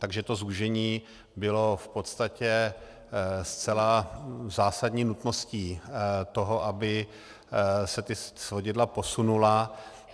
Takže to zúžení bylo v podstatě zcela zásadní nutností toho, aby se ta svodidla posunula.